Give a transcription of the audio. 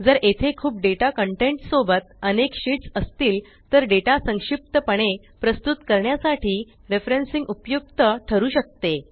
जर येथे खूप डेटा कंटेंट सोबत अनेक शीट्स असतील तर डेटा संक्षिप्त पणे प्रस्तुत करण्यासाठी रेफरेन्सिंग उपयुक्त ठरू शकते